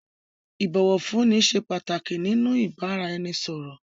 Ìbọ̀wọ̀fúnni ṣé pàtàkì nínú ìbáraẹnisọ̀rọ̀.